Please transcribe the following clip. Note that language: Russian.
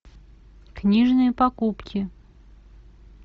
книжные покупки